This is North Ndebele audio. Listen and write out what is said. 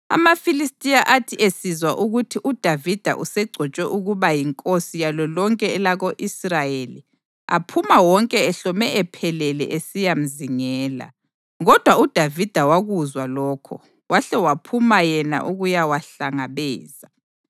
AmaFilistiya athi esizwa ukuthi uDavida usegcotshwe ukuba yinkosi yalo lonke elako-Israyeli, aphuma wonke ehlome ephelele esiyamzingela, kodwa uDavida wakuzwa lokho wahle waphuma yena ukuyawahlangabeza.